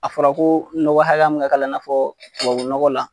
A fɔra ko nɔgɔ hakɛ min ka k'a la i n'a fɔ tubabu nɔgɔ la